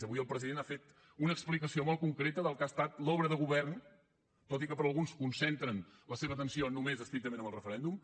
avui el president ha fet una explicació molt concreta del que ha estat l’obra de govern tot i que alguns concentren la seva atenció només estrictament en el referèndum